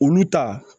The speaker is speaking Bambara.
Olu ta